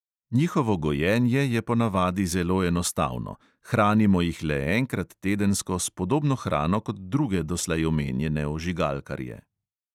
Njihovo gojenje je ponavadi zelo enostavno; hranimo jih le enkrat tedensko s podobno hrano kot druge doslej omenjene ožigalkarje.